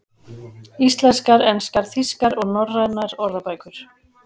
Íslenskar, enskar, þýskar og norrænar orðabækur.